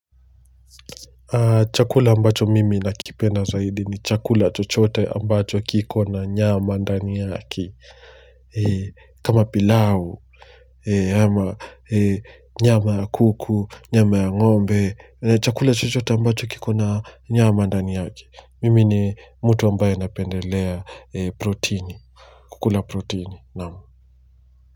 Chakula ambacho mimi nakipenda zaidi ni chakula chochote ambacho kiko na nyama ndani yake. Kama pilau, nyama ya kuku, nyama ya ngombe, chakula chochote ambacho kiko na nyama ndani yake. Mimi ni mtu ambaye anapendelea protini kukula protini, naam.